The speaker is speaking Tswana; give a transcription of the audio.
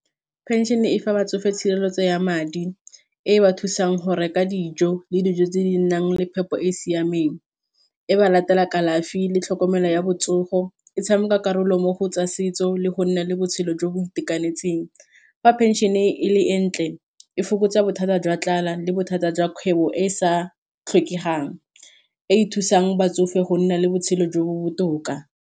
Pension-e e fa ba tsofe tshireletso ya madi e ba thusang go reka dijo le dijo tse di nang le phepo e e siameng, e ba latela kalafi le tlhokomelo ya botsogo, e tshameka karolo mo go tsa setso le go nna le botshelo jo bo itekanetseng, fa pension-e e le entle e fokotsa bothata jwa tlala le bothata jwa kgwebo e e sa tlhokegang e e thusang batsofe go nna le botshelo jo bo botoka.